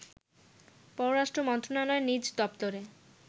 পররাষ্ট্র মন্ত্রণালয়ের নিজ দপ্তরে